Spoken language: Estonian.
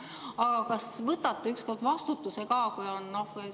Aga kas võtate ükskord vastutuse ka?